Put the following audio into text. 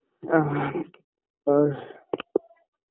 breathe আর